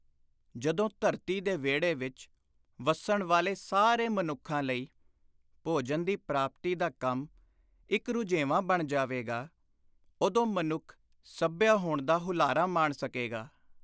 ਜਦੋਂ ਧਰਤੀ ਦੇ ਵਿਹੜੇ ਵਿਚ ਵੱਸਣ ਵਾਲੇ ਸਾਰੇ ਮਨੁੱਖਾਂ ਲਈ ਭੋਜਨ ਦੀ ਪ੍ਰਾਪਤੀ ਦਾ ਕੰਮ ਇਕ ਰੁਝੇਵਾਂ ਬਣ ਜਾਵੇਗਾ, ਉਦੋਂ ਮਨੁੱਖ ਸੱਭਿਅ ਹੋਣ ਦਾ ਹੁਲਾਰਾ ਮਾਣ ਸਕੇਗਾ।